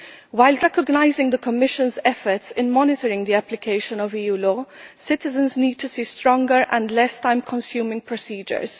While recognising the Commission's efforts in monitoring the application of EU law, citizens need to see stronger and less time consuming procedures.